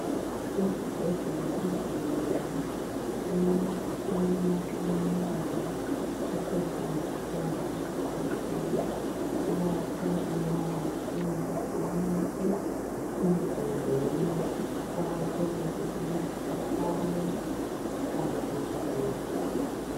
Izibhedlela ezinengi imitshina eminengi esetshenziswa ngabodokotela ikakhulu nxa behlinza umuntu emizimbeni kuqakathekile ukuthi ihlale ihlanzekile.